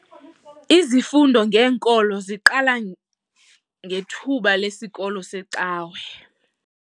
Izifundo ngenkolo ziqala ngethuba lesikolo secawa.